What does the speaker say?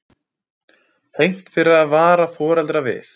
Hegnt fyrir að vara foreldra við